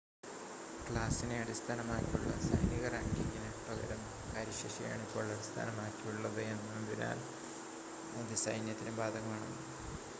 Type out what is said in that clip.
ക്ലാസിനെ അടിസ്ഥാനമാക്കിയുള്ള സൈനിക റാങ്കിംഗിന് പകരം കാര്യശേഷിയെ ആണ് ഇപ്പോൾ അടിസ്ഥാനമാക്കിയുള്ളത് എന്നതിനാൽ അത് സൈന്യത്തിനും ബാധകമാണ്